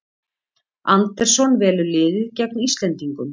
Andersson velur liðið gegn Íslendingum